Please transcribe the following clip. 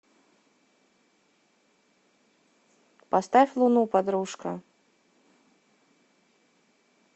поставь луну подружка